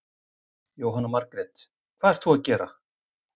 Jóhanna Margrét: Hvað ert þú að gera?